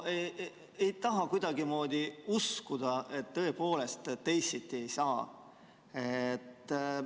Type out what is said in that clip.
Ei taha kuidagimoodi uskuda, et tõepoolest teisiti ei saa.